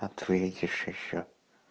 ответишь ещё